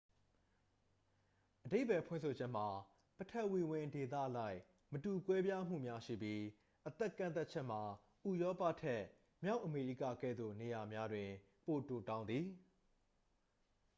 အဓိပ္ပါယ်ဖွင့်ဆိုချက်မှာ ပထဝီဝင်ဒေသအလိုက် မတူကွဲပြားမှုများ ရှိပြီး အသက်ကန့်သတ်ချက်မှာ ဥရောပထက် မြောက်အမေရိကကဲ့သို့ နေရာများတွင် ပိုတိုတောင်းသည်